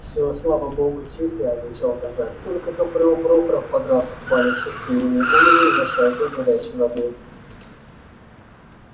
всё слава богу тихо отвечал казак только капрал прохоров подрался в бане с устиньей негулиной за шайку горячей воды